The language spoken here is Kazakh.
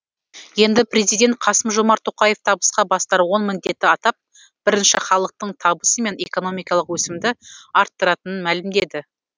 енді президент қасым жомарт тоқаев табысқа бастар он міндетті атап бірінші халықтың табысы мен экономикалық өсімді арттыратынын мәлімдеді